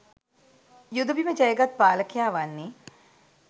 යුද බිම ජය ගත් පාලකයා වන්නේ